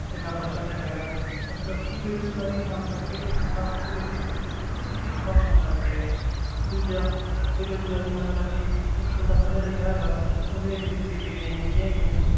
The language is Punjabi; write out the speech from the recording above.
ਤੇ ਮੈਂ ਫ਼ਰਸ਼ਾਂ ਤੇ ਰਹਿ ਗਿਆ ਮਤਲਬ ਕਿ ਬੇਰੁਜ਼ਗਾਰੀ ਆਉਣ ਕਰਕੇ ਲੋਕਾਂ ਦਾ ਆਪਸ ਦੇ ਵਿੱਚ ਇੱਕ ਦੂਜੇ ਪ੍ਰਤੀ ਹੀਨ ਭਾਵਨਾ ਆਉਣ ਲੱਗ ਪਈ ਹੈ ਦੂਜਾ ਬੇਰਜ਼ਗਾਰੀ ਆਉਣ ਕਰਕੇ ਇੱਕ ਬੰਦਾ ਪੜ੍ਹਿਆ ਲਿਖਿਆ ਹੈਗਾ ਉਹਨੇ ਇੱਡੀ ਇੱਡੀ ਵੱਡੀਆਂ ਡਿਗਰੀਆਂ ਕੀਤੀਆਂ ਹੈਗੀਆਂ,